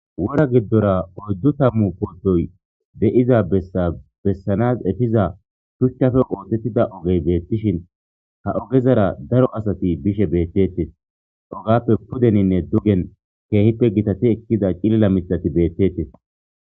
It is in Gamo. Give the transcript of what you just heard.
wora giddora oyddu tammu poodoy de7iza bessabessanas etiza shuchchafe ootettida ogey beettishin ha ogezara daro asati bishe beettettes ogappe pudeninne dugen keehippe gitati ekkiza cilila mitati beettettes.